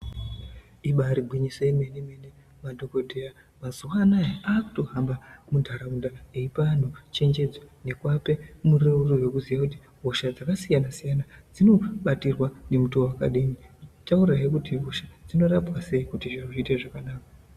Ibari gwinyiso yemene mene madhokodheya mazuva anaya akutohamba muntaraunda eipa anhu chengedzo nekuape mureururo wekuziye kuti hosha dzakasiyana siyana dzinobatirwa nemutoo wakadini eitaurahe kuti hosha dzinorapwa sei kuti zvinhu zviite zvakanaka.